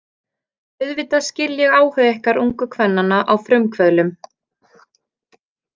Auðvitað skil ég áhuga ykkar ungu kvennanna á frumkvöðlum.